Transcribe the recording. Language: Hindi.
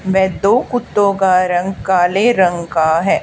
मैं दो कुत्तों का रंग काले रंग का है।